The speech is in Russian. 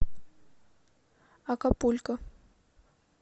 акапулько